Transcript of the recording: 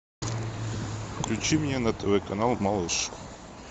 включи мне на тв канал малыш